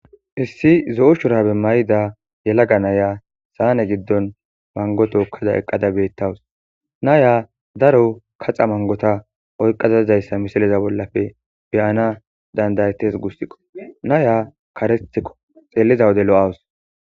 Issi zo'o shurabe mayida yalaga naya saane giddon mango tookkada eqqada beettawus naya daro kaxa mangota oyqqazazizayssa misiliza bollafe beyana dandayetes gussiqo naya karetikko xeelliza wode lo'awus